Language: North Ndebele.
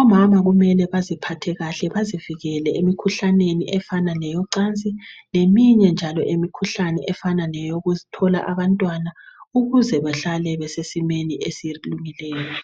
Omama kumele baziphathe kahle bazivikele emikhuhlaneni efana ngeyecansi, ngeminye njalo imikhuhlane efana ngeyokuthola abantwana ukuze bahlale besesimeni esilungileyo.